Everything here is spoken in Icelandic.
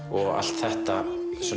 og allt þetta